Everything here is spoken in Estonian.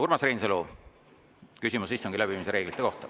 Urmas Reinsalu, küsimus istungi läbiviimise reeglite kohta.